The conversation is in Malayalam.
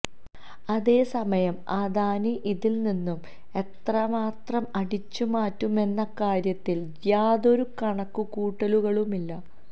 അതേസമയം അദാനി ഇതില് നിന്നും എത്രമാത്രം അടിച്ചുമാറ്റുമെന്ന കാര്യത്തില് യാതൊരു കണക്കുകൂട്ടലുകളുമില്ല